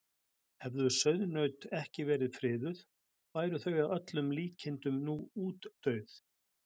hefðu sauðnaut ekki verið friðuð væru þau að öllum líkindum nú útdauð